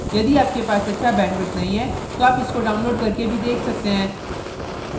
यदि आपके पास अच्छा bandwidth नहीं है तो आप इसको download करके भी देख सकते हैं